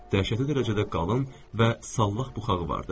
Dəhşətli dərəcədə qalın və sallaq buxarı vardı.